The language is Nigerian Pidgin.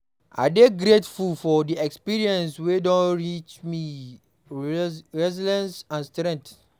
I dey grateful for the experiences wey don teach me resilience and strength.